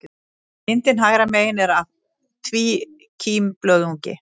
Myndin hægra megin er af tvíkímblöðungi.